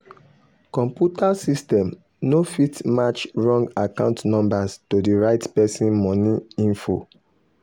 computer system no fit match wrong account numbers to the right person money info.